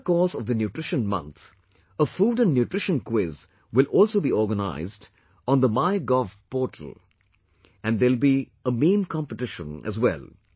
During the course of the Nutrition Month, a food and nutrition quiz will also be organized on the My Gov portal, and there will be a meme competition as well